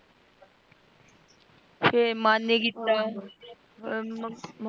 ਫਰ ਮਨ ਨਹੀਂ ਕੀਤਾ।